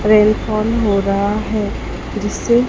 rain fall हो रहा है जिससे--